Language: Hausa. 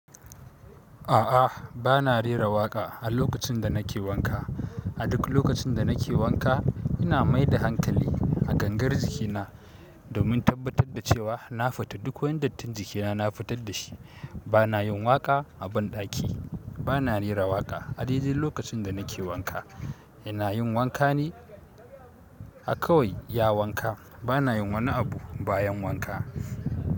A'a, bana rera waƙa a lokacin da nake wanka. A duk lokacin da nake wanka, ina mai da hankali a gangar jikina domin tabbatar da cewa na fita duk wani dattin jikina na fitar da shi. Bana yin waƙa a banɗaki. Bana rera waƙa a daidai lokacin da nake wanka. Ina yin wanka ne a kawai iya wanka. Bana yin wani abu bayan wanka.